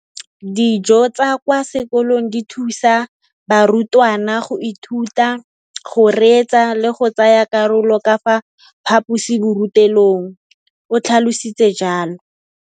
Dijo tsa kwa sekolong dithusa barutwana go ithuta, go reetsa le go tsaya karolo ka fa phaposiborutelong, o tlhalositse jalo.